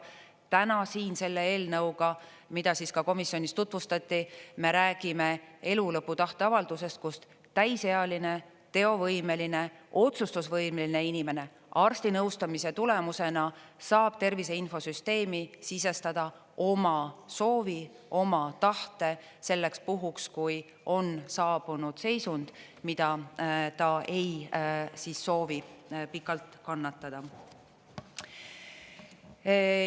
Täna siin selle eelnõuga, mida ka komisjonis tutvustati, me räägime elulõpu tahteavaldusest, kust täisealine, teovõimeline, otsustusvõimeline inimene arstinõustamise tulemusena saab Tervise Infosüsteemi sisestada oma soovi, oma tahte selleks puhuks, kui on saabunud seisund, mida ta ei soovi pikalt kannatada.